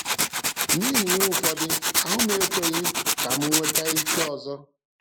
N’ihi ihe ụfọdụ, ahụ m ekweghị ka m nweta ike ọzọ.